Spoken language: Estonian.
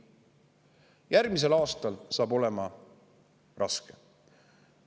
Järgmisel aastal on raske.